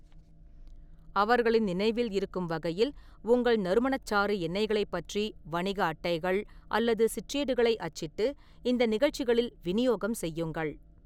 அவர்களின் நினைவில் இருக்கும் வகையில், உங்கள் நறுமணச்சாறு எண்ணெய்களைப் பற்றி வணிக அட்டைகள் அல்லது சிற்றேடுகளை அச்சிட்டு இந்த நிகழ்ச்சிகளில் விநியோகம் செய்யுங்கள்.